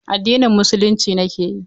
Addinin Musulunci nake yi.